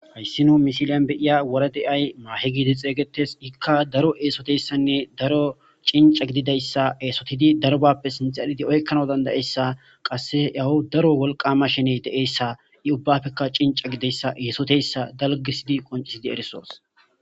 Hayssino misiliyan beiya wora de'ay maahe giide xeeygetes ikka daro eesoteyssanne daro cinca gididayssa eesotidi darbappe sinxalidi oykkana dandayessa qasse yawu daro wolqama shene de'eyssa i ubbafeka cinca gideyssa eesoteyssa dalgisidi qoncisidi erisoos